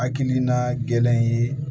Hakilina gɛlɛn ye